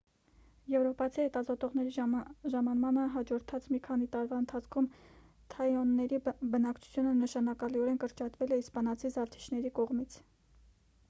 եվրոպացի հետազոտողների ժամանմանը հաջորդած մի քանի տարվա ընթացքում թաինոների բնակչությունը նշանակալիորեն կրճատվել է իսպանացի զավթիչների կողմից